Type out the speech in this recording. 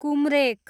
कुम्रेक